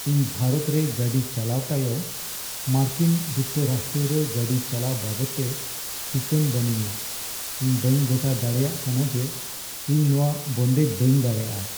ᱤᱧ ᱵᱷᱟᱨᱚᱛ ᱨᱮ ᱜᱟᱹᱰᱤ ᱪᱟᱞᱟᱣ ᱛᱟᱭᱚᱢ ᱢᱟᱨᱠᱤᱱ ᱡᱩᱠᱛᱚ ᱨᱟᱥᱴᱨᱚ ᱨᱮ ᱜᱟᱹᱰᱤ ᱪᱟᱞᱟᱣ ᱵᱟᱵᱚᱫᱛᱮ ᱴᱤᱠᱟᱹᱱ ᱵᱟᱹᱱᱩᱧᱟ ᱾ᱤᱧ ᱵᱟᱹᱧ ᱜᱚᱴᱟ ᱫᱟᱲᱮᱭᱟᱜ ᱠᱟᱱᱟ ᱡᱮ ᱤᱧ ᱱᱚᱶᱟ ᱵᱚᱱᱫᱮᱡ ᱵᱟᱹᱧ ᱫᱟᱲᱮᱭᱟᱜᱼᱟ ᱾